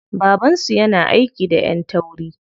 Baban su yana aiki da ƴan tauri.